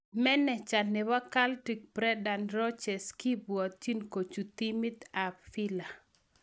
Meneja nepo Celtic Brendan Rodgers kopwotin kochut timit ap Villa.